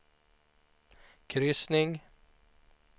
kryssning